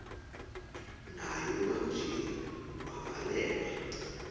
naye ubanjiwe wavalelwa